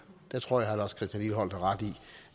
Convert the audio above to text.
tror jeg at herre lars christian lilleholt har ret i